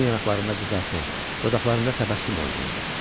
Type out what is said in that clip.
Onun yanaqlarında qızartı, dodaqlarında təbəssüm oynayırdı.